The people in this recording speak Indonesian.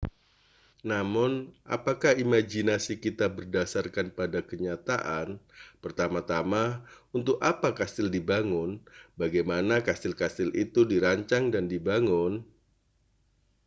namun apakah imajinasi kita berdasarkan pada kenyataan pertama-tama untuk apa kastil dibangun bagaimana kastil-kastil itu dirancang dan dibangun